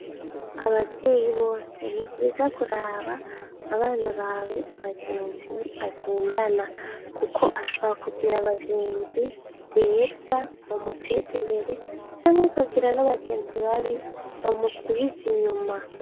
Abavyeyi bose, nivyiza kuraba abana bawe abagenzi bagendana, kuko ashobora kugira abagenzi beza bamuteza imbere, canke bakagira n'abagenzi babi bamusubiza inyuma.